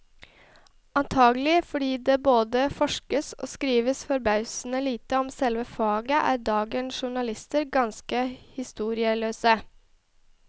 Antagelig fordi det både forskes og skrives forbausende lite om selve faget, er dagens journalister ganske historieløse.